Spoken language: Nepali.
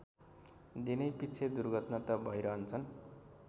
दिनैपिच्छे दुर्घटना त भैरहन्छन्